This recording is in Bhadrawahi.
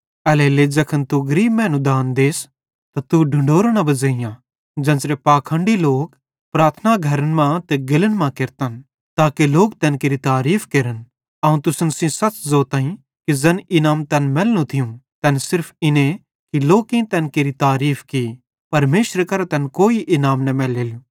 एल्हेरेलेइ ज़ैखन तू गरीब मैनू दान देस त तू ढुंढूरो न बज़ेइयां ज़ेन्च़रे पाखंडी लोक प्रार्थना घरन मां ते गेल्लन मां केरतन ताके लोक तैन केरि तारीफ़ केरन अवं तुसन सेइं सच़ ज़ोताईं कि ज़ैन इनाम तैन मैलनू थियूं तैन सिर्फ इन्ने कि लोकेईं तैन केरि तारीफ़ की परमेशरे करां तैनन् कोई इनाम न मैलेलो